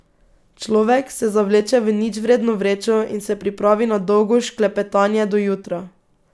Človek se zavleče v ničvredno vrečo in se pripravi na dolgo šklepetanje do jutra.